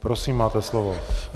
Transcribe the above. Prosím, máte slovo.